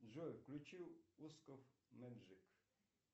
джой включи усков мэджик